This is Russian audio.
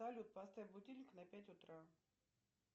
салют поставь будильник на пять утра